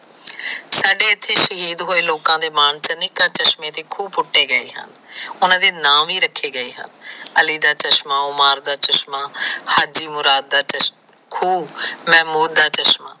ਸਾਡੇ ਇਥੇ ਸ਼ਹੀਦ ਹੋਏ ਲੋਕ ਚਸ਼ਮੇ ਦੇ ਖੂਹ ਪੁੱਟੇ ਗਏ ਹਨ। ਓਹਨਾ ਦੇ ਨਾਮ ਵੀ ਰੱਖੇ ਗਏ ਹਨ ਅਲੀ ਦਾ ਚਸ਼ਮਾ, ਓਮਾਨ ਦਾ ਚਸ਼ਮਾ, ਹਾੜਦਿਮੁਰਾਦ ਦਾ ਚਸ਼ਮਾ, ਮਹਿਮੂਦ ਦਾ ਚਸ਼ਮਾ।